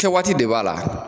Kɛ waati de b'a la